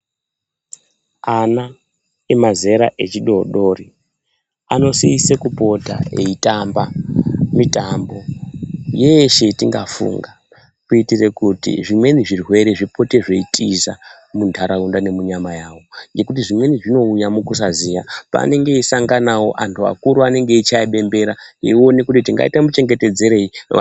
Ana emazera echidodori anosise kupota eitamba mitambo yeeshe yatingafunga kuitire kuti zvimweni zvirwere zvipote zveitiza muntaraunda nemunyana yawo ngekuti zvimweni zvinouya mukusazita paanenge eisanganawo antu akuru anenge eichaye bembera eione kuti tingaite muchengEtedzerei vana.